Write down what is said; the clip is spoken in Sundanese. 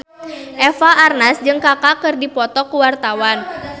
Eva Arnaz jeung Kaka keur dipoto ku wartawan